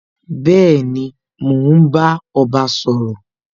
Bẹẹni, mo ń bá ọba sọ̀rọ̀